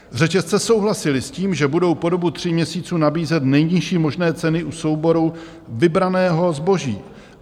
Řetězce souhlasily s tím, že budou po dobu tří měsíců nabízet nejnižší možné ceny u souboru vybraného zboží.